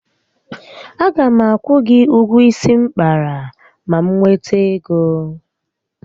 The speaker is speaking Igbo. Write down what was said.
A ga m akwụ gị ụgwọ isi m kpara ma m nwete ego